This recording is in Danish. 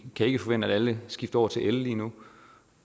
kan ikke forvente at alle skifter over til el lige nu